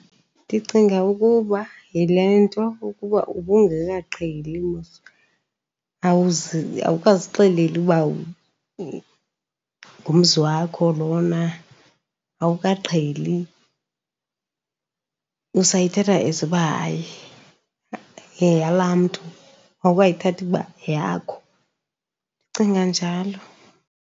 Ndicinga ukuba yile nto ukuba ubungekaqheli mos, awukazixeleli uba ngumzi wakho lona, awukaqheli. Usayithatha as uba hayi, yeyalaa mntu, awukayithathi uba yeyakho. Ndicinga njalo.